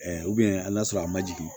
hali n'a sɔrɔ a ma jigin